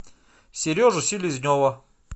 сережу селезнева